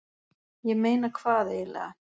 ég meina hvað eiginlega.